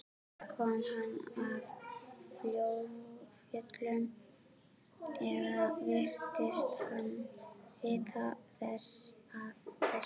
Kom hann af fjöllum eða virtist hann vita af þessu?